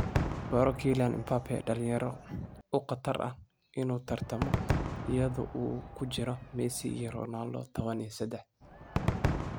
Baro Kylian Mbappé, dhalinyaro u khatar ah inuu tartamo iyadoo uu ku jiro Messi iyo Ronaldo 13.